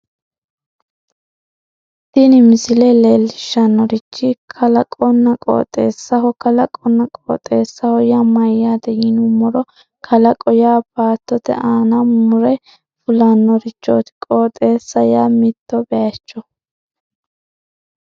tini misile leellishshannorichi kalaqonna qooxeessaho kalaqonna qooxeessaho yaa mayyaate yinummoro kalaqo yaa baattote aana mure fulannorichooti qooxeessa yaa mitto bayiicho